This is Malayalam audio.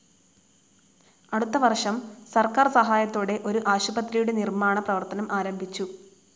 അടുത്ത വർഷം സർക്കാർ സഹായത്തോടെ ഒരു ആശുപത്രിയുടെ നിർമ്മാണ പ്രവർത്തനം ആരംഭിച്ചു.